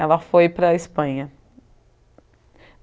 Ela foi para a Espanha.